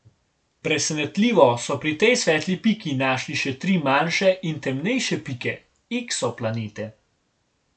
Presenetljivo so pri tej svetli piki našli še tri manjše in temnejše pike, eksoplanete.